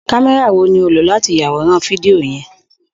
Kamẹra wo ni o lo lati yaworan fidio yẹn?